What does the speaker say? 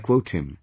I quote him